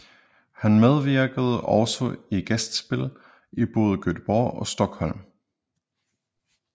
Han medvirkede også i gæstespil i både Göteborg og Stockholm